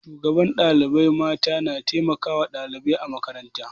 Shugabar ɗalibai mata na taimakawa ɗalibai a makaranta.